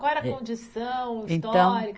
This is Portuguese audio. Qual era a condição histórica? Então